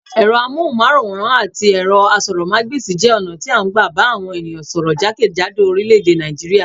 Ẹ̀rọ amóhùnmáwòràn àti ẹ̀rọ asọ́rọ̀ mágbèsi jẹ́ ọ̀nà tí a n gbà bà àwọn ènìyàn sọ́rọ́ jákèjádò oríléèdè Nàìjíríà